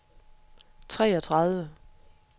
treogtredive